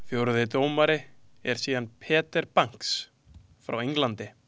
Fjórði dómari er síðan Peter Banks frá Englandi.